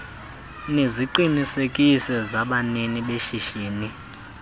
neziqinisekiso zabanini beshishini